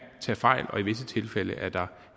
tage fejl og i visse tilfælde er der